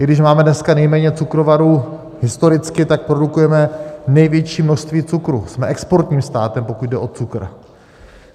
I když máme dneska nejméně cukrovarů historicky, tak produkujeme největší množství cukru - jsme exportním státem, pokud jde o cukr.